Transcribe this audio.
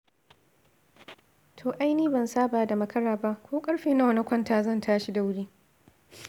To ai ni ban saba da makara ba, ko ƙarfe nawa na kwanta zan tashi da wuri.